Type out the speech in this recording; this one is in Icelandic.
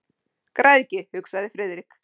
Græðgi, hugsaði Friðrik.